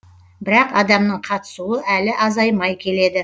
бірақ адамның қатысуы әлі азаймай келеді